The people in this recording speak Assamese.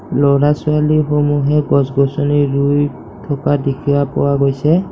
ল'ৰা ছোৱালীসমূহে গছ-গছনি ৰুই থকা দেখিয়া পোৱা গৈছে